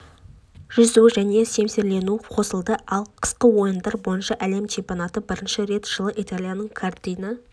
жүзу және семсерлесу қосылды ал қысқы ойындар бойынша әлем чемпионаты бірінші рет жылы италияның кортина